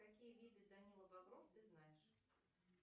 какие виды данила багров ты знаешь